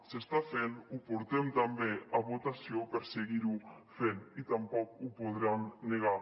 s’està fent ho portem també a votació per seguir ho fent i tampoc ho podran negar